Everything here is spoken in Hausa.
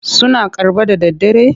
Suna karɓa da daddare?